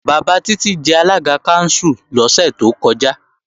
Bàbá Títí jẹ alága kánsù lọ́sẹ̀ tó kọjá